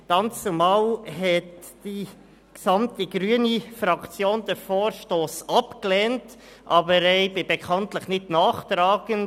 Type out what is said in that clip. Dannzumal hat die gesamte grüne Fraktion den Vorstoss abgelehnt, aber ich bin bekanntlich nicht nachtragend.